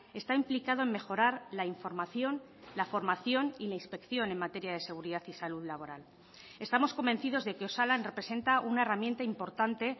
está implicado en mejorar la información la formación y la inspección en materia de seguridad y salud laboral estamos convencidos de que osalan representa una herramienta importante